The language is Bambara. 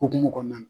Hokumu kɔnɔna